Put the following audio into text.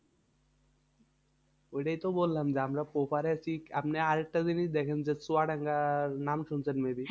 ঐটাই তো বললাম যে আমরা ওপারে আছি। আপনি আরেকটা জিনিস দেখেন যে চুয়াডাঙ্গার নাম শুনেছেন?